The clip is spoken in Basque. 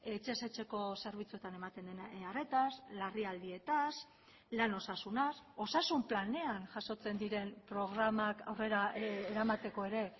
etxez etxeko zerbitzuetan ematen den arretaz larrialdietaz lan osasunaz osasun planean jasotzen diren programak aurrera eramateko ere